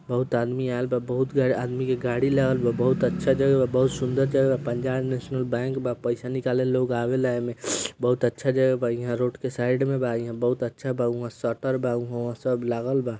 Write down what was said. बहुत आदमी आएल बा बहुत आदमी के गाड़ी लागल बा बहुत अच्छा जगह बहुत सुंदर जगह पंजाब नैशनल बैंक बा पैसा निकाले लोग आवेला एमे बहुत अच्छा जगह बा हिया रोड के साइड मे बा बहुत अच्छा बा हुवा शटर बा हुवा सब लागल बा।